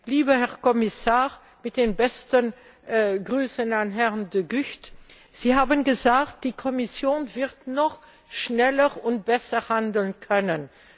Lieber Herr Kommissar mit den besten Grüßen an Herrn De Gucht Sie haben gesagt, die Kommission wird noch schneller und besser handeln können.